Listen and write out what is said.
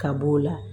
Ka b'o la